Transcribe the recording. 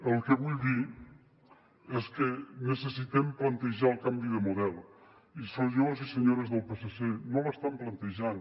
el que vull dir és que necessitem plantejar el canvi de model i senyors i senyores del psc no l’estan plantejant